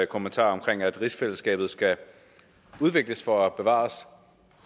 kommentar om at rigsfællesskabet skal udvikles for at bevares